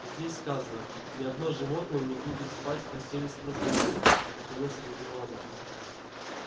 здесь сказано ни одно животное не будет спать в постели с простынями наконец объявила она